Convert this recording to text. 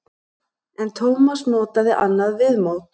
En Tómas notaði annað viðmót.